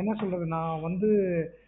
என்ன சொல்லுறது நா வந்து